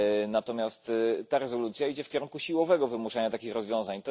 Natomiast ta rezolucja idzie w kierunku siłowego wymuszania takich rozwiązań.